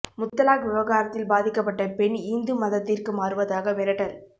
முத்தலாக் விவகாரத்தில் பாதிக்கப்பட்ட பெண் இந்து மதத்திற்கு மாறுவதாக மிரட்டல்